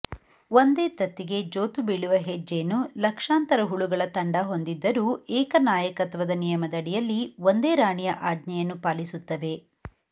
ಒಂದೇ ತತ್ತಿಗೆ ಜೋತುಬೀಳುವ ಹೆಜ್ಜೇನು ಲಕ್ಷಾಂತರ ಹುಳುಗಳ ತಂಡ ಹೊಂದಿದ್ದರೂ ಏಕನಾಯಕತ್ವದ ನಿಯಮದಡಿಯಲ್ಲಿ ಒಂದೇ ರಾಣಿಯ ಆಜ್ಞೆಯನ್ನು ಪಾಲಿಸುತ್ತವೆ